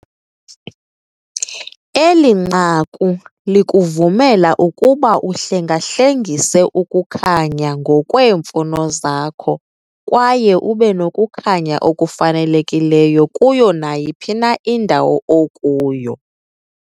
Eli nqaku likuvumela ukuba uhlengahlengise ukukhanya ngokweemfuno zakho kwaye ube nokukhanya okufanelekileyo kuyo nayiphi na indawo okuyo.